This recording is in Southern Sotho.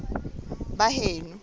baheno